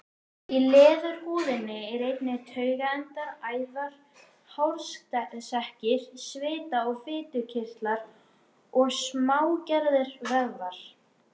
Í leðurhúðinni eru einnig taugaendar, æðar, hársekkir, svita- og fitukirtlar og smágerðir vöðvar.